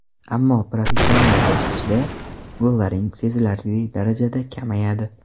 Ammo professional bosqichda gollaring sezilarli darajada kamayadi.